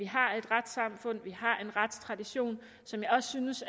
har et retssamfund man har en retstradition som jeg også synes